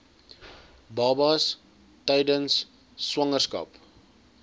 babas tydens swangerskap